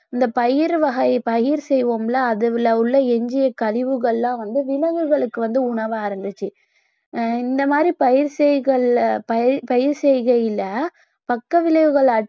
இந்த பயிரு வகை பயிர் செய்வோம்ல அதில உள்ள எஞ்சிய கழிவுகள்லாம் வந்து விலங்குகளுக்கு வந்து உணவா இருந்துச்சு அஹ் இந்த மாதிரி பயிர் செய்கள்ல~ பயிர் செய்கையில பக்க விளைவுகள்